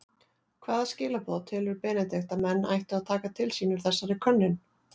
Hvaða skilaboð telur Benedikt að menn ættu að taka til sín úr þessari könnun?